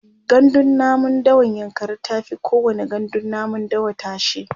gandun namun dawan yankari tafi kowani gandun namun dawa tashe